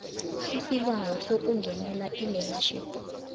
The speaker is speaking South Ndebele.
isibawo sokungenela ilearnership